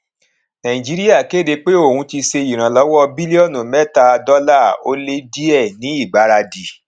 nàìjíríà kéde pé òun ti ṣe ìrànlọwọ bílíọnù mẹta dọlà ó lé díẹ ní ìgbáradì